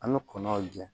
An bɛ kɔnɔnjɛ